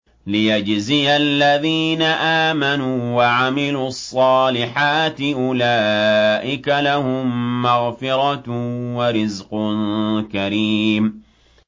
لِّيَجْزِيَ الَّذِينَ آمَنُوا وَعَمِلُوا الصَّالِحَاتِ ۚ أُولَٰئِكَ لَهُم مَّغْفِرَةٌ وَرِزْقٌ كَرِيمٌ